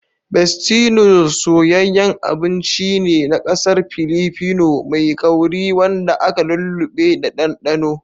Bestie Noodles soyayyen abinci ne nakasar Pilipino mai kauri wanda aka lulluɓe da ɗanɗano.